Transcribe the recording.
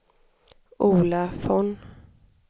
Ola Von